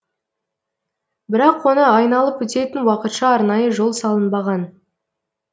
бірақ оны айналып өтетін уақытша арнайы жол салынбаған